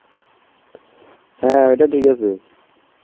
হ্যাঁ, ওইটা ঠিক আছে.